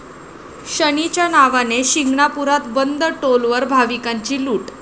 शनीच्या नावाने...', शिंगणापुरात बंद टोलवर भाविकांची लूट